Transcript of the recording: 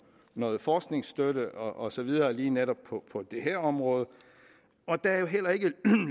noget forskningsstøtte og så videre lige netop på på det her område der er jo heller ikke